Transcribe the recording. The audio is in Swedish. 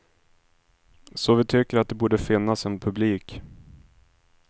Så vi tycker att det borde finnas en publik.